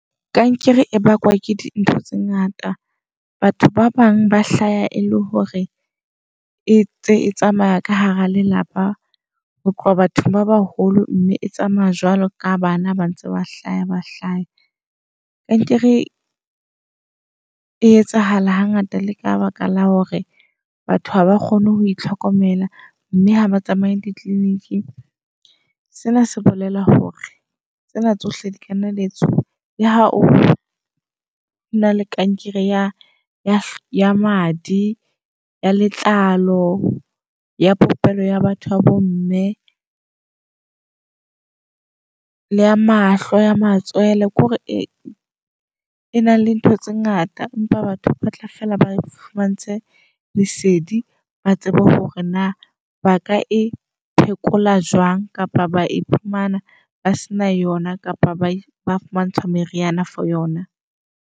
Kankere e bakwa ke dintho tse ngata. Batho ba bang ba hlaya e le hore e ntse tsamaya ka hara lelapa ho tloha batho ba baholo mme e tsamaya jwalo ka bana ba ntse ba hlaya ba hlaha. Kankere e etsahala hangata le ka baka la hore batho haba kgone ho itlhokomela, mme ha ba tsamaye di-clinic. Sena se bolela hore tsena tsohle di kanna dia etsuwa, le ha ona le kankere ya ya madi, ya letlalo, ya popelo ya batho ba bo mme. Le ya mahlo, ya matswele ke hore e e na le ntho tse ngata. Empa batho ba batla fela ba fumantshwr lesedi, ba tsebe hore na baka e phekola jwang. Kapa ba iphumana ba sena yona kapa ba ba fumantshwa meriana for yona.